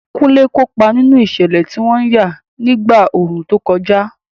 Kunle kópa nínú ìṣẹ̀lẹ̀ tí wọ́n yà nígbà ooru tó kọjá.